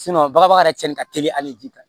bagabaga yɛrɛ cɛnni ka teli hali ji kan